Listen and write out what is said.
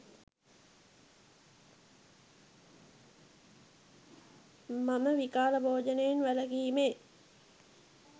මම විකාල භෝජනයෙන් වැළකීමේ